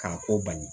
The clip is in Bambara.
K'a ko bali